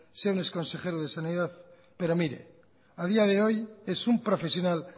sea un exconsejero de sanidad pero mire a día de hoy es un profesional